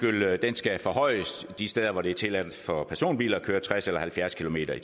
skal forhøjes de steder hvor det er tilladt for personbiler at køre tres eller halvfjerds kilometer